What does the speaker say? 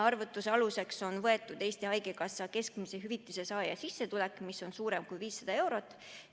Arvutuse aluseks on võetud Eesti Haigekassa keskmise hüvitise saaja sissetulek, mis on suurem kui 500 eurot.